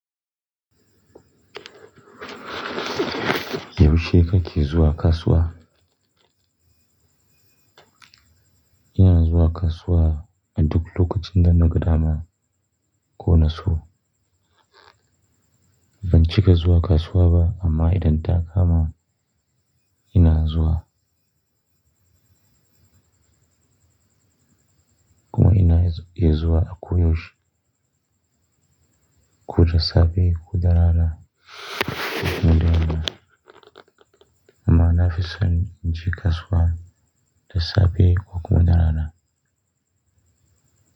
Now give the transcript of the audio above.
Yaushe kake zuwa kasuwa? Ina zuwa kasuwa a duk lokacin da naga dama, ko na so. Ban cika zuwa kasuwa ba, amma idan ta kama ina zuwa. Kuma ina zuwa akoyaushe, ko dasafe ko da rana, duk in da naga dama. Amma na fi son in je kasuwa dasafe, ko kuma da rana.